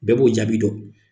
Bɛɛ b'o jaabi dɔn.